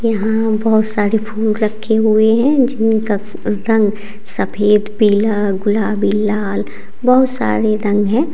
यहां बहोत सारे फूल रखे हुए है जिनका रंग सफेद पिला गुलाबी लाल बहोत सारे रंग है।